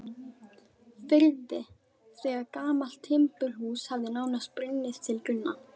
firði þegar gamalt timburhús hafði nánast brunnið til grunna.